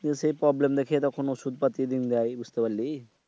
সেই problem দেখি তখন ঔষদ পাতি দিন দেয়। বুঝলি?